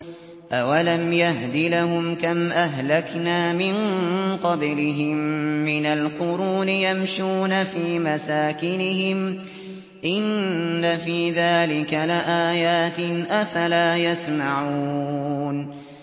أَوَلَمْ يَهْدِ لَهُمْ كَمْ أَهْلَكْنَا مِن قَبْلِهِم مِّنَ الْقُرُونِ يَمْشُونَ فِي مَسَاكِنِهِمْ ۚ إِنَّ فِي ذَٰلِكَ لَآيَاتٍ ۖ أَفَلَا يَسْمَعُونَ